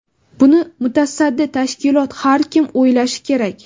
Buni mutasaddi tashkilot, har kim o‘ylashi kerak.